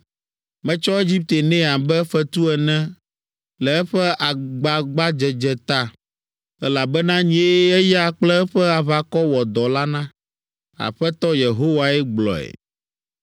Metsɔ Egipte nɛ abe fetu ene le eƒe agbagbadzedze ta, elabena nyee eya kple eƒe aʋakɔ wɔ dɔ la na.’ Aƒetɔ Yehowae gblɔe.